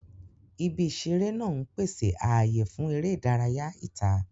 Ibi ìṣeré náà ń pèsè ààyè fún eré ìdárayá ìta.